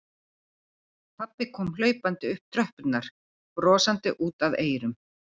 Pabbi kom hlaupandi upp tröppurnar, brosandi út að eyrum.